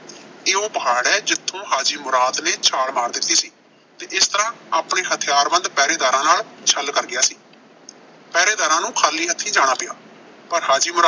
ਇਹ ਉਹ ਪਹਾੜ ਐ, ਜਿੱਥੋਂ ਹਾਜੀ ਮੁਰਾਦ ਨੇ ਛਾਲ ਮਾਰ ਦਿੱਤੀ ਸੀ ਤੇ ਇਸ ਤਰ੍ਹਾਂ ਆਪਣੇ ਹਥਿਆਰਬੰਦ ਪਹਿਰੇਦਾਰਾਂ ਨਾਲ ਛਲ ਕਰ ਗਿਆ ਸੀ। ਪਹਿਰੇਦਾਰਾਂ ਨੂੰ ਖਾਲੀ ਹੱਥੀਂ ਜਾਣਾ ਪਿਆ ਪਰ ਹਾਜ਼ਿਮ